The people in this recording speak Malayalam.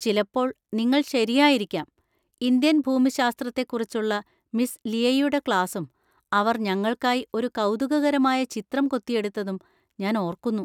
ചിലപ്പോൾ നിങ്ങൾ ശരിയായിരിക്കാം! ഇന്ത്യൻ ഭൂമിശാസ്ത്രത്തെക്കുറിച്ചുള്ള മിസ് ലിയയുടെ ക്ലാസും അവർ ഞങ്ങൾക്കായി ഒരു കൗതുകകരമായ ചിത്രം കൊത്തിയെടുത്തതും ഞാൻ ഓർക്കുന്നു.